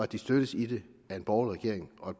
de støttes i det af en borgerlig regering og